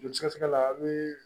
Joli sɛgɛsɛgɛ la a be